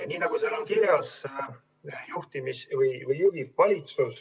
Nii nagu seal on kirjas, valitsus juhib.